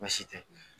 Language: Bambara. Baasi tɛ